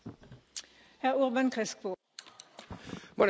Bueno, yo creo que serían varias preguntas.